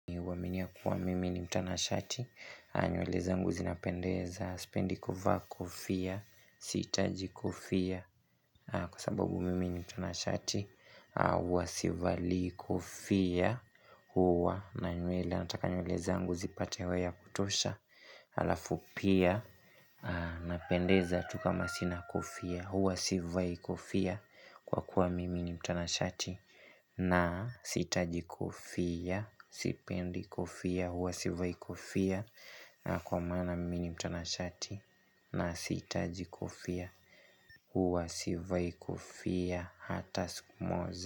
Huaminia kuwa mimi ni mtanashati. Nywele zangu zinapendeza. Sipendi kofia. Sihitaji kofia kwa sababu mimi ni mtanashati. Huwa sivalii kofia. Huwa na nywele, nataka nywele zangu zipate hewa ya kutosha. Halafu pia, napendeza tu kama sina kofia. Huwa sivai kofia kwa kuwa mimi ni mtanashati. Na sihitaji kofia. Sipendi kofia. Huwa sivai kofia, na kwa maana mimi ni mtanashati. Na sitaji kofia. Huwa sivai kofia hata siku moja.